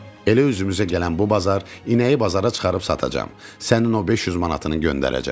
Elə üzümüzə gələn bu bazar inəyi bazara çıxarıb satacam, sənin o 500 manatını göndərəcəm.